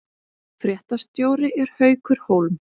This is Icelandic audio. Fréttastjóri er Haukur Hólm